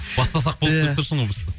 бастасақ болды деп тұрсың ғой